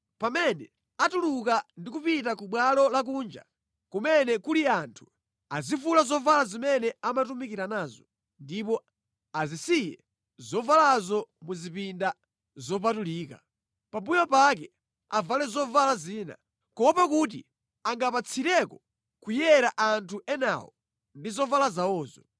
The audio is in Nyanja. Pamene atuluka ndi kupita ku bwalo lakunja kumene kuli anthu, azivula zovala zimene amatumikira nazo, ndipo azisiye zovalazo mu zipinda zopatulika. Pambuyo pake avale zovala zina, kuopa kuti angapatsireko kuyera anthu enawo ndi zovala zawozo.